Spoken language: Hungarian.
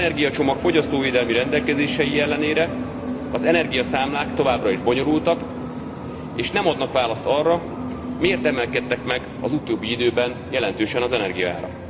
3. energiacsomag fogyasztóvédelmi rendelkezései ellenére az energiaszámlák továbbra is bonyolultak, és nem adnak választ arra, miért emelkedtek meg az utóbbi időben jelentősen az energiaárak.